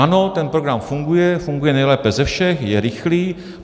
Ano, ten program funguje, funguje nejlépe ze všech, je rychlý.